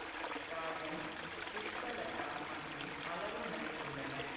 ராஜன் புஷ்பலதா மற்றும் பலரும் நடித்துள்ளனர்